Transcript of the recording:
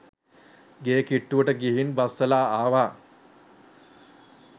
ගේ කිට්ටුවට ගිහින් බස්සලා ආවා.